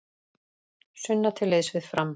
Sunna til liðs við Fram